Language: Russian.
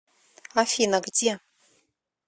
афина где